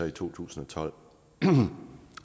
i to tusind og tolv